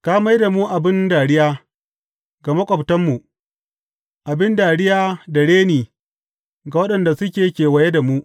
Ka mai da mu abin dariya ga maƙwabtanmu, abin dariya da reni ga waɗanda suke kewaye da mu.